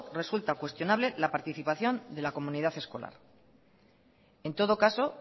resulta cuestionable la participación de la comunidad escolar en todo caso